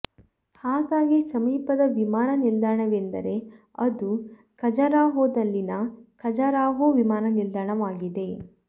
ಹಾಗಾಗಿ ಸಮೀಪದ ವಿಮಾನ ನಿಲ್ದಾಣವೆಂದರೆ ಅದು ಖಜರಾಹೋದಲ್ಲಿನ ಖಜರಾಹೋ ವಿಮಾನ ನಿಲ್ದಾಣವಾಗಿದೆ